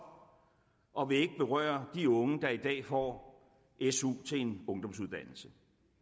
og vil ikke berøre de unge der i dag får su til en ungdomsuddannelse